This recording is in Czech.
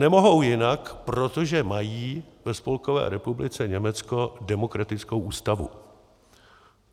Nemohou jinak, protože mají ve Spolkové republice Německo demokratickou ústavu.